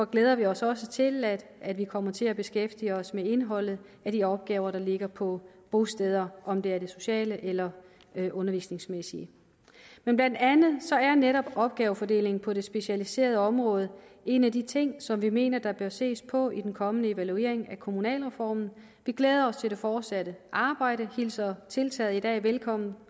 glæder vi os også til at at vi kommer til at beskæftige os med indholdet af de opgaver der ligger på bostederne om det er det sociale eller det undervisningsmæssige men blandt andet er netop opgavefordelingen på det specialiserede område en af de ting som vi mener der bør ses på i den kommende evaluering af kommunalreformen vi glæder os til det fortsatte arbejde hilser tiltaget i dag velkommen